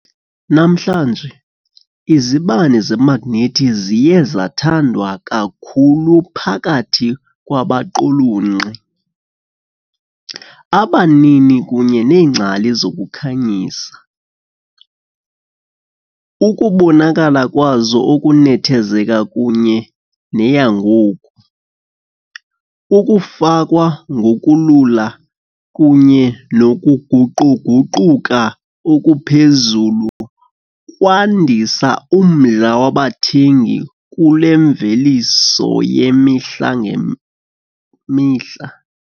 Namhlanje, izibane zemagnethi ziye zathandwa kakhulu phakathi kwabaqulunqi, abanini kunye neengcali zokukhanyisa, ukubonakala kwazo okunethezeka kunye neyangoku, ukufakwa ngokulula kunye nokuguquguquka okuphezulu kwandisa umdla wabathengi Kule mveliso yemihla ngemihla.